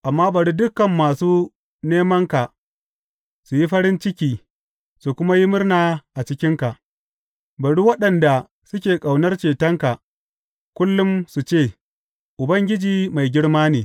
Amma bari dukan masu nemanka su yi farin ciki su kuma yi murna a cikinka; bari waɗanda suke ƙaunar cetonka kullum su ce, Ubangiji mai girma ne!